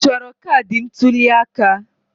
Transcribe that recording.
Ị chọrọ kaadị ntuli aka?